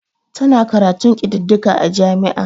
Tana karatun kididdiga a jami'a.